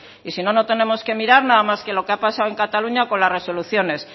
y si no no tenemos que mirar nada más que lo que ha pasado en cataluña con las resoluciones